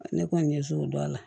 Ne kɔni ɲɛ t'o dɔn a la